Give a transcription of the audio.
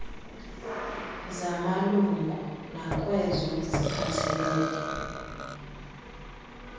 zamalungu nakwezo ziphathelele